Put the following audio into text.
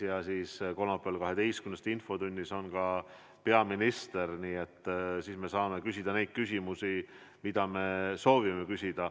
Ja kolmapäeval kell 12 infotunnis on ka peaminister, nii et siis me saame küsida neid küsimusi, mida me soovime küsida.